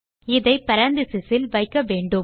இதை பேரெந்தசிஸ் இல் வைக்க வேண்டும்